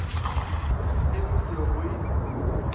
o se emiše go e